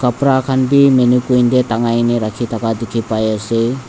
kapra khan bi maniquin tae takai kaena rakhithaka dikhipaiase.